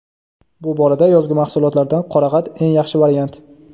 bu borada yozgi mahsulotlardan qorag‘at eng yaxshi variant.